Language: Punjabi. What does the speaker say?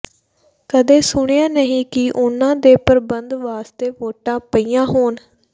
ਕਦੇ ਸੁਣਿਆ ਨਹੀਂ ਕਿ ਉਨ੍ਹਾਂ ਦੇ ਪ੍ਰਬੰਧ ਵਾਸਤੇ ਵੋਟਾਂ ਪਈਆਂ ਹੋਣ